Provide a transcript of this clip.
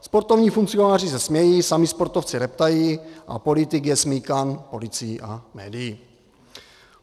Sportovní funkcionáři se smějí, sami sportovci reptají a politik je smýkán policií a médií.